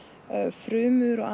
frumur og